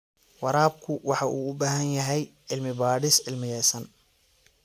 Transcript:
Waraabku waxa uu u baahan yahay cilmi-baadhis cilmiyaysan.